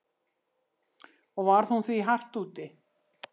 Og varð hún því hart úti.